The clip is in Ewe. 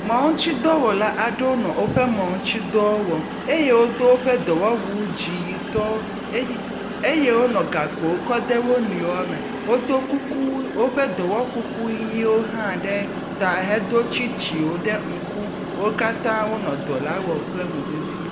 Mɔ ŋutidɔwɔla aɖewo nɔ woƒe mɔ ŋutidɔwo wɔm eye wodo woƒe dɔwɔwu dziyitɔ ey eye wonɔ gakpowo kɔ de wo nɔewo me. Wodo kuku woƒe dɔwɔkuku ʋiwo hã ɖe ta hedo tsitsiwo ɖe ŋku. Wo Katã wonɔ dɔ la wɔm kple mo vevie.